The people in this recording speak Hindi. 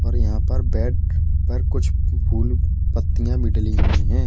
और यहां पर बेड पर कुछ फूल पत्तियां भी डली हुई हैं।